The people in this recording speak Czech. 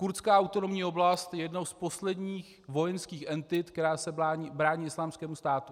Kurdská autonomní oblast je jednou z posledních vojenských entit, která se brání Islámskému státu.